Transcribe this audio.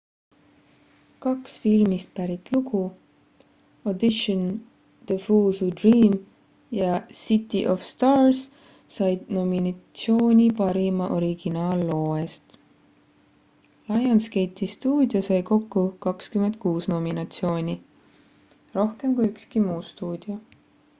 "kaks filmist pärit lugu "audition the fools who dream" ja "city of stars" said nominatsiooni parima originaalloo eest. lionsgate'i stuudio sai kokku 26 nominatsiooni – rohkem kui ükski muu stuudio.